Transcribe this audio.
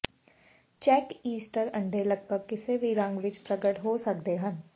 check Easter ਅੰਡੇ ਲਗਭਗ ਕਿਸੇ ਵੀ ਰੰਗ ਵਿੱਚ ਪ੍ਰਗਟ ਹੋ ਸਕਦੇ ਹਨ